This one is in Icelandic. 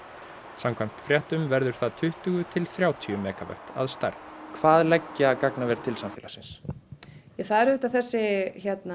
samkvæmt fréttum verður það tuttugu til þrjátíu megavött að stærð hvað leggja gagnaver til samfélagsins það eru auðvitað þessi